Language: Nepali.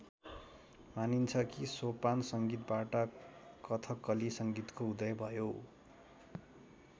मानिन्छ कि सोपान संगीतबाट कथकली संगीतको उदय भयो।